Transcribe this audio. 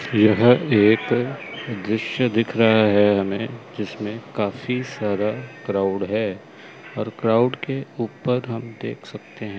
यह एक दृश्य दिख रहा है हमें जिसमें काफी सारा क्राउड है और क्राउड के ऊपर हम देख सकते हैं।